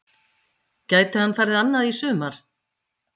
Gæti hann farið annað í sumar?